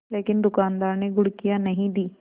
लेकिन दुकानदार ने घुड़कियाँ नहीं दीं